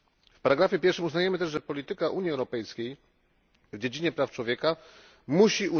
W ustępie pierwszym uznajemy też, że polityka Unii Europejskiej w dziedzinie praw człowieka musi